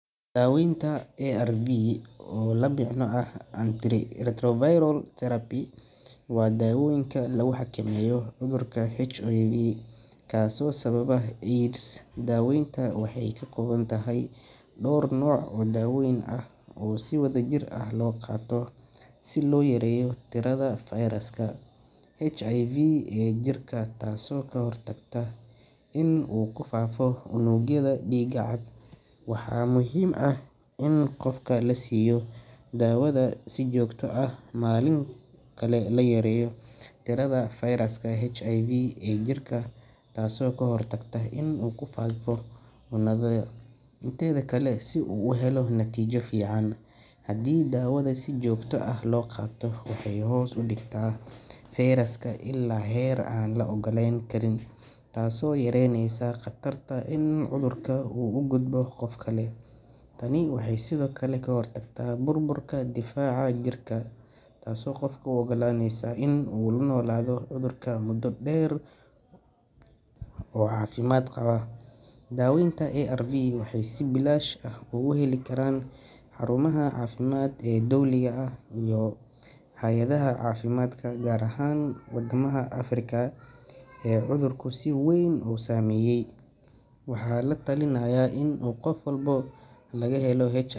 Daweynta ARV oo la micno ah Antiretroviral Therapy, waa daawooyinka lagu xakameeyo cudurka HIV, kaasoo sababa AIDS. Daaweyntan waxay ka kooban tahay dhowr nooc oo dawooyin ah oo si wadajir ah loo qaato si loo yareeyo tirada fayraska HIV ee jirka, taasoo ka hortagta inuu ku faafo unugyada dhiigga cad. Waxaa muhiim ah in qofka la siiyo daawada si joogto ah maalin kasta noloshiisa inteeda kale si uu u helo natiijo fiican. Haddii daawada si joogto ah loo qaato, waxay hoos u dhigtaa fayraska ilaa heer aan la ogaan karin, taasoo yareyneysa khatarta in cudurka uu u gudbo qof kale. Tani waxay sidoo kale ka hortagtaa burburka difaaca jirka, taasoo qofka u oggolaaneysa inuu la noolaado cudurka muddo dheer oo caafimaad qaba. Daaweynta ARV waxay si bilaash ah uga heli karaan xarumaha caafimaad ee dowliga ah iyo hay’adaha caafimaadka, gaar ahaan wadamada Afrika ee uu cudurku si weyn u saameeyay. Waxaa la talinayaa in qof walba oo laga helo .